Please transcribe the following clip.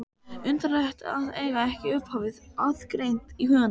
Undarlegt að eiga ekki upphafið aðgreint í huganum.